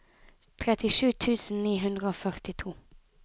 trettisju tusen ni hundre og førtito